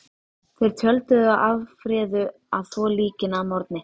Þeir tjölduðu og afréðu að þvo líkin að morgni.